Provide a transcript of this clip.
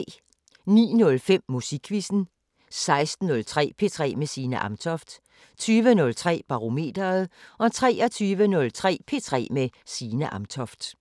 09:05: Musikquizzen 16:03: P3 med Signe Amtoft 20:03: Barometeret 23:03: P3 med Signe Amtoft